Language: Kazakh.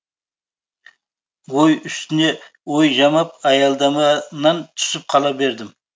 ой үстіне ой жамап аялдама нан түсіп қала бердім